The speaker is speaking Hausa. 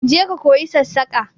Je ka koyi sassaƙa!